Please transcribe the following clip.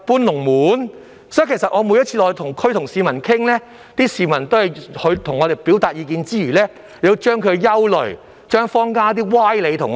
由此可見，我每次落區與市民談話時，他們在向我表達意見之餘，亦會把他們的憂慮及坊間的一些謬論告訴我們。